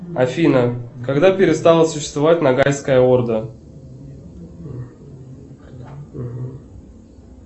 афина когда перестала существовать ногайская орда